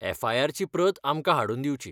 एफआयआरची प्रत आमकां हाडून दिवची.